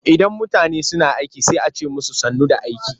Idan mutane suna aiki sai a ce musu sannu da aiki.